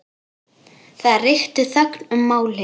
Það ríkti þögn um málið.